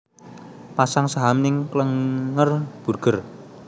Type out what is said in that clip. Pasang saham ning Klenger Burger